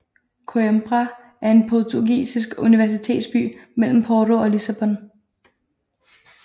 Coimbra er en portugisisk universitetsby mellem Porto og Lissabon